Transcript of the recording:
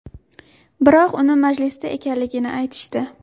Biroq uni majlisda ekanligini aytishdi.